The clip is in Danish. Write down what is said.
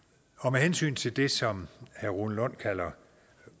med hensyn til det som herre rune lund kalder